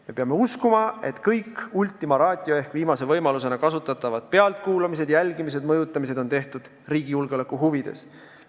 Me peame uskuma, et kõik ultima ratio ehk viimase võimalusena kasutatavad pealtkuulamised, jälgimised ja mõjutamised on tehtud riigi julgeoleku huvides.